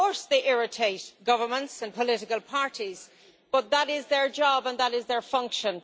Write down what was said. Of course they irritate governments and political parties, but that is their job and that is their function.